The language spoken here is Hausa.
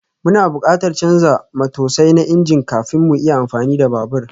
Muna buƙatar canza matosai na injin kafin mu iya amfani da babur